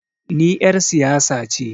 Ni er siyasa ce